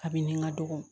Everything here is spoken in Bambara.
Abini ka dɔgɔ